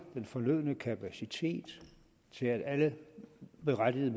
den fornødne kapacitet til at alle berettigede